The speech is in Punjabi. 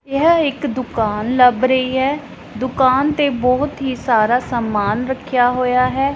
ਯਹ ਇੱਕ ਦੁਕਾਨ ਲੱਭ ਰਹੀ ਐ ਦੁਕਾਨ ਤੇ ਬਹੁਤ ਹੀ ਸਾਰਾ ਸਮਾਨ ਰੱਖਿਆ ਹੋਇਆ ਹੈ।